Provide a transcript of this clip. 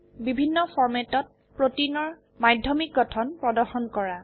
বিভিন্ন ফৰম্যাটত প্ৰোটিনৰ মাধ্যমিক গঠন প্ৰদৰ্শন কৰা